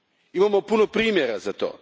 Imamo puno primjera za to.